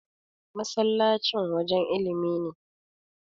masallacin wajen ilimin ne